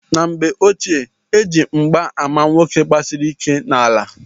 N'mgbe ochie eji mgba ama nwoke gbasiri ike n'ala.